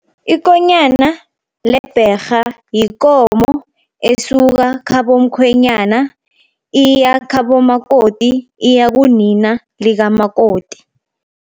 Ikonyana lebherha yikomo esuka khabo mkhwenyana, iya khabo makoti. Iya kunina likamakoti.